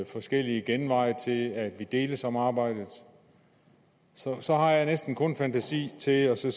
forskellige genveje til at vi deles om arbejdet så så har jeg næsten kun fantasi til at sige